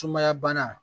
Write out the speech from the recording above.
Sumaya bana